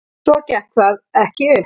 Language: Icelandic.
Svo gekk það ekki upp.